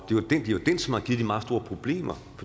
det de meget store problemer